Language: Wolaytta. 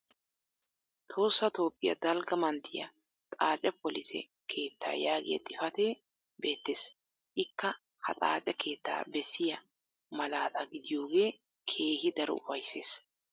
Tohossa Toophiya dalgga manttiya xaace polise keettaa yaagiya xifatee beettees. Ikka ha xaace keettaa bessiya malaataa gidiyoogee keehi daro ufayssees.